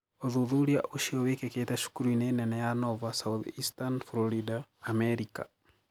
ũthûthurĩa ucio wikikite cukurû ini nene ya Nova Southeastern Florida, Amerika.